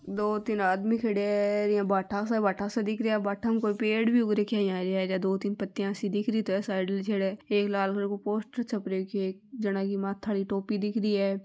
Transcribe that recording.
दो तीन आदमी खडया है र ईया भाटा सा भाटा दिख रहिया भाटा में कोई पेड़ भी उग राख्या है यान हरिया हरिया दो तीन पत्तिया सी दिख रही तो है साइड छडे एक लाल रंग को पोस्टर भी छप रख्यो है एक जना की माथा आली टोपी दिख रही है।